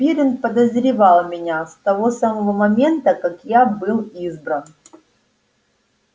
пиренн подозревал меня с того самого момента как я был избран